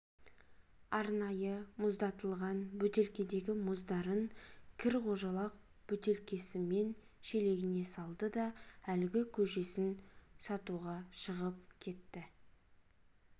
арнайы мұздатылған бөтелкедегі мұздарын кір қожалақ бөтелкесімен шелегіне салды да лгі көжесін сатуға шығып кетті